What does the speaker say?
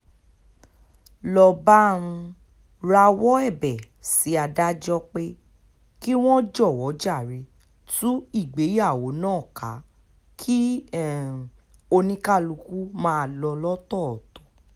ló bá um rawọ́ ẹ̀bẹ̀ sí adájọ́ pé kí wọ́n jọ̀wọ́ jàre tú ìgbéyàwó náà ká kí um oníkálùkù máa lọ lọ́tọ̀ọ̀tọ̀